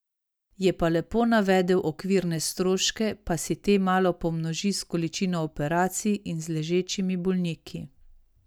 Je pa lepo navedel okvirne stroške pa si te malo pomnoži z količino operacij in z ležečimi bolniki.